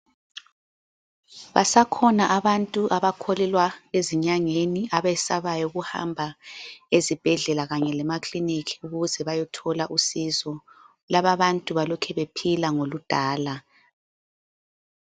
Basakhona abantu abakholelwa ezinyangeni. Abesabayo ukuhamba ezibhedlela kanye lemakliniki ukuze bayothola usizo, lababantu balokhebephila ngoludala.